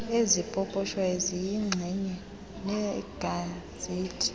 ezipoposhwayo ziyinxenye yegazethi